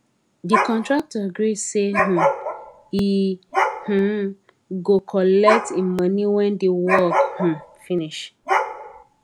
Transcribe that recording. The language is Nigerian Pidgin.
the contractor gree say um he um go collect him money when the work um finish